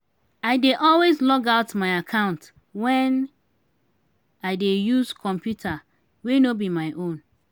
i dey always log out my account when i dey use computer wey no be my own.